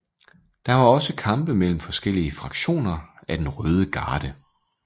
Der var også kampe mellem forskellige fraktioner af den røde garde